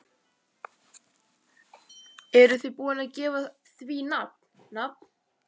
Eruð þið búin að gefa því nafn, nafn?